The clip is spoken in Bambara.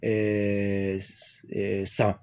san